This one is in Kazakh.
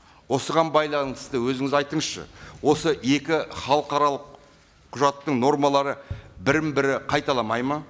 осыған байланысты өзіңіз айтыңызшы осы екі халықаралық құжаттың нормалары бірін бірі қайталамайды ма